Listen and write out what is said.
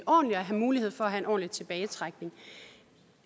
og have mulighed for at ordentligt tilbage